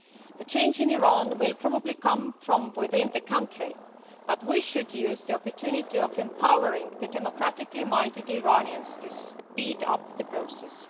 The change in Iran will probably come from within the country, but we should use the opportunity of empowering democratically minded Iranians to speed up the process.